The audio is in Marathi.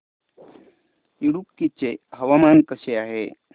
इडुक्की चे हवामान कसे आहे